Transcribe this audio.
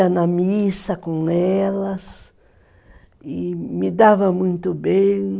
Ia na missa com elas e me dava muito bem.